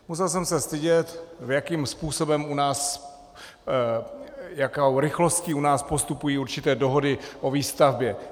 Musel jsem se stydět, jakým způsobem u nás a jakou rychlostí u nás postupují určité dohody o výstavbě.